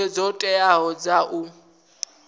hoea dzo teaho dza u